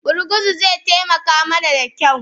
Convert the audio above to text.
Gurguzu zai taimaka mana da kyau